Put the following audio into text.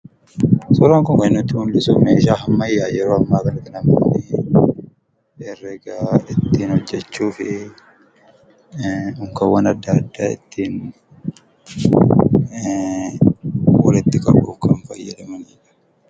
Suuraan kun kan inni nutti mul'isu, meeshaa ammayyaa yeroo ammaa kana namni baayyeen herreega ittiin hojjachuufi unkaawwan adda addaa ittiin walitti qabuuf kan fayyadamanidha.